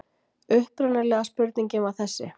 Upprunalega spurningin var þessi: